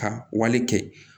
Ka wale kɛ